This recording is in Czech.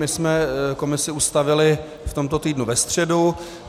My jsme komisi ustavili v tomto týdnu ve středu.